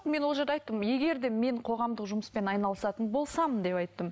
мен ол жерде айттым егер де мен қоғамдық жұмыспен айналысатын болсам деп айттым